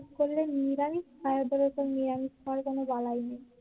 উপোস করলে নিরামিষ খায় ওদের অরকম নিরামিষ খাওয়ার কোন বালাই নেই